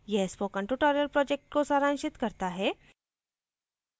यह spoken tutorial project को सारांशित करता है